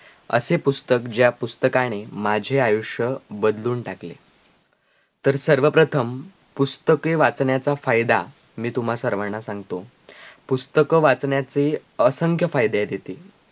असे पुस्तक ज्या पुस्तकाने माझे आयुष्य बदलून टाकले तर सर्व प्रथम पुस्तके वाचण्याचा फायदा मी तुम्हा सगळ्यांना सांगतो पुस्तक वाचण्याचे असंख्य फायदे आहेत इथे